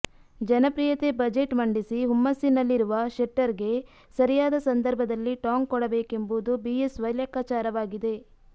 ಜನಪ್ರಿಯತೆ ಬಜೆಟ್ ಮಂಡಿಸಿ ಹುಮ್ಮಸ್ಸಿನಲ್ಲಿರುವ ಶೆಟ್ಟರ್ಗೆ ಸರಿಯಾದ ಸಂದರ್ಭದಲ್ಲಿ ಟಾಂಗ್ ಕೊಡಬೇಕೆಂಬುದು ಬಿಎಸ್ವೈ ಲೆಕ್ಕಾಚಾರವಾಗಿದೆ